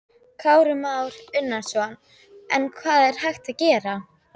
Kristján Már Unnarsson: En hvað er hægt að gera?